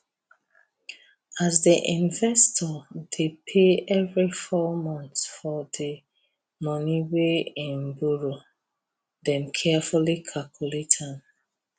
as the investor dey pay every four month for the money wey em borrow dem carefully calculate am